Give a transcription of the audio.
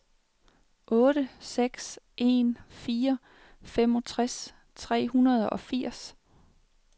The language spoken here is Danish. otte seks en fire femogtres tre hundrede og firs